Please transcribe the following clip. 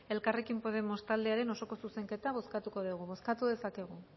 elkarrekin podemos taldearen osoko zuzenketa bozkatuko dugu bozkatu dezakegu